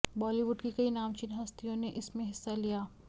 बॉलीवुड की कई नामचीन हस्तियों ने इसमें हिस्सा लिया